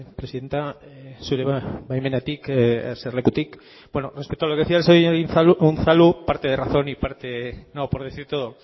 presidente zure baimenarekin eserlekutik bueno respecto a lo que decía el señor unzalu parte de razón y parte no por decir todo